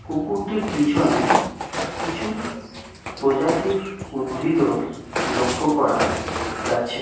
কুকুরটির পিছনে কিছু প্রজাতির উদ্ভিদও লক্ষ্য করা যাচ্ছে।